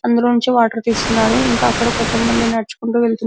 అందులోనుంచి water తీస్తున్నారు ఇంకా అక్కడ్ కొంత మంది నడుచుకుంటూ వెళ్తున్న--